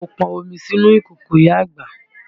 Mo pọn omi sínú ìkòkò ìyá àgbà